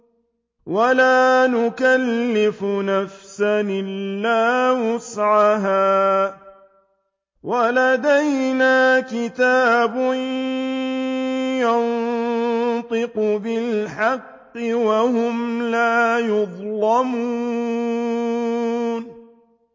وَلَا نُكَلِّفُ نَفْسًا إِلَّا وُسْعَهَا ۖ وَلَدَيْنَا كِتَابٌ يَنطِقُ بِالْحَقِّ ۚ وَهُمْ لَا يُظْلَمُونَ